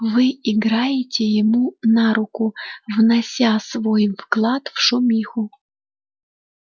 вы играете ему на руку внося свой вклад в шумиху